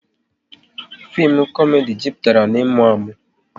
Fim komedi jupụtara na ịmụ amụ